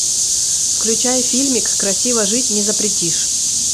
включай фильмик красиво жить не запретишь